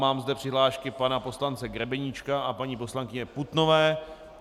Mám zde přihlášky pana poslance Grebeníčka a paní poslankyně Putnové.